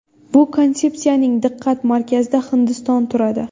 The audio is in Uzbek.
Bu konsepsiyaning diqqat markazida Hindiston turadi”.